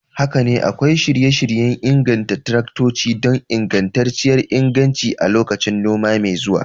Haka ne, akwai shirye-shiryen inganta taraktoci don ingantacciyar inganci a lokacin noma mai zuwa.